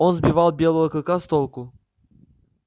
он сбивал белого клыка с толку